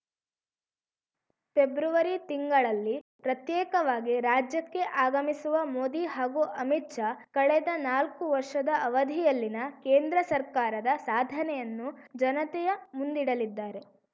February ತಿಂಗಳಲ್ಲಿ ಪ್ರತ್ಯೇಕವಾಗಿ ರಾಜ್ಯಕ್ಕೆ ಆಗಮಿಸುವ ಮೋದಿ ಹಾಗೂ ಅಮಿತ್‌ ಶಾ ಕಳೆದ ನಾಲ್ಕು ವರ್ಷದ ಅವಧಿಯಲ್ಲಿನ ಕೇಂದ್ರ ಸರ್ಕಾರದ ಸಾಧನೆಯನ್ನು ಜನತೆಯ ಮುಂದಿಡಲಿದ್ದಾರೆ